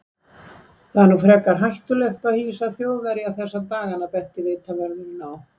Það er nú frekar hættulegt að hýsa Þjóðverja þessa dagana benti vitavörðurinn á.